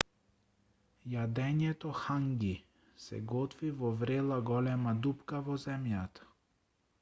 јадењето ханги се готви во врела голема дупка во земјата